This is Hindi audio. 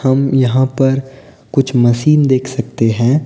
हम यहां पर कुछ मशीन देख सकते है।